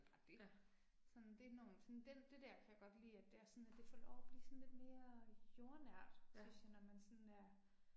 Ja. Ja